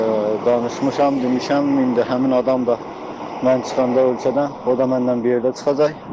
Danışmışam, demişəm, indi həmin adam da mən çıxanda ölkədən, o da mənlə bir yerdə çıxacaq.